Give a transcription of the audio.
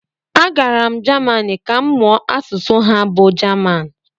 agara m Jamanị ka m mụọ asụsụ ha bụ jaman